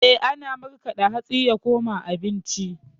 Eh, ana markaɗa hatsi ya koma abinci.